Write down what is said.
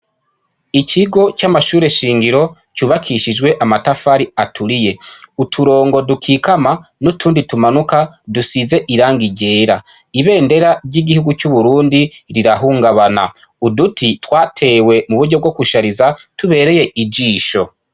Ikigo c'amashure nshingiro cubakishijwe amatafari aturiye, Uturongo dukikama n'utundi tumanuka dusize irangi ryera, ibendera ry'igihugu c'Uburundi rirahungabana, Uduti twatewe mu buryo bwo gushariza, tubereye ijisho.